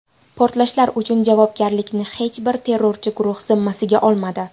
Portlashlar uchun javobgarlikni hech bir terrorchi guruh zimmasiga olmadi.